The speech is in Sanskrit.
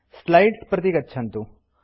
स्लाइड्स् प्रति गच्छन्तु